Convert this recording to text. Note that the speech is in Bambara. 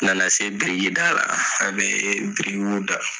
Nana se biriki da la , a be birikiw da.